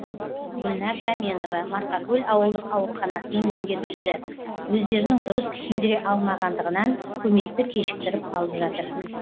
гүлнар таменова марқакөл ауылдық ауруханасының меңгерушісі өздерінің дұрыс түсіндіре алмағандығынан көмекті кешіктіріп алып жатыр